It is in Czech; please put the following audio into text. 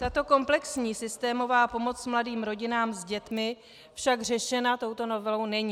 Tato komplexní systémová pomoc mladým rodinám s dětmi však řešena touto novelou není.